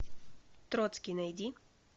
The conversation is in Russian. троцкий найди